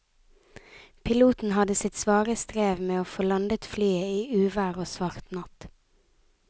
Piloten hadde sitt svare strev med å få landet flyet i uvær og svart natt.